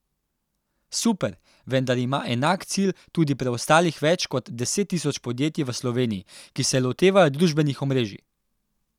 Super, vendar ima enak cilj tudi preostalih več kot deset tisoč podjetij v Sloveniji, ki se lotevajo družbenih omrežij ...